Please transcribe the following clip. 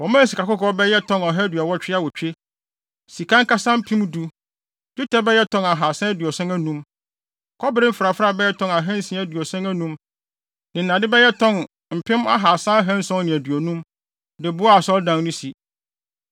Wɔmaa sikakɔkɔɔ bɛyɛ tɔn ɔha aduɔwɔtwe awotwe, sika ankasa mpem du, dwetɛ bɛyɛ tɔn ahaasa aduɔson anum, kɔbere mfrafrae bɛyɛ tɔn ahansia aduɔson anum ne nnade bɛyɛ tɔn mpem ahaasa ahanson ne aduonum, de boaa Asɔredan no si.